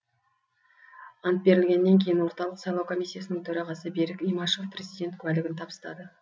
ант берілгеннен кейін орталық сайлау комиссиясының төрағасы берік имашев президент куәлігін табыстады